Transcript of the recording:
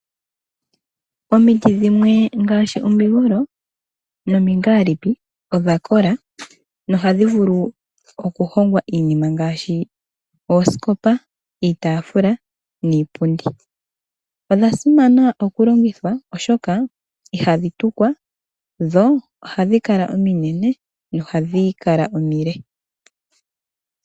Omiti dhimwe ngaashi omigolo nomingaalipi odha kola, nohadhi vulu okuhongwa iinima ngaashi oosikopa, iitafula, niipundi. Odha simana okulongithwa oshoka ihadhi tukwa dho ohadhi kala ominene nohadhi kala omile.